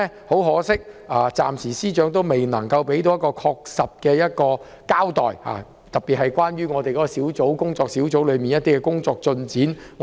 很可惜，司長今年暫時未能作出明確交代，我們仍然無法知曉工作小組的工作進展。